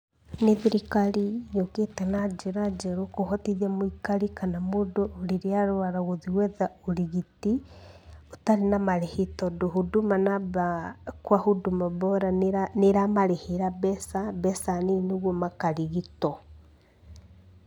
Ni thirikari yũkĩte na njĩra njeru kũhotithia mũikari kana mũndũ rĩrĩa arwara gwetha ũrigiti ũtarĩ na marĩhi tondũ Huduma Number kwa Huduma Bora nĩ ĩramarĩhĩra mbeca nini nĩ getha makarigitwo.